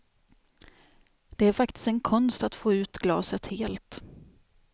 Det är faktiskt en konst att få ut glaset helt.